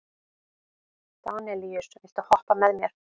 Danelíus, viltu hoppa með mér?